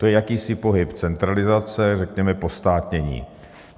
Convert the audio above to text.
To je jakýsi pohyb centralizace, řekněme postátnění.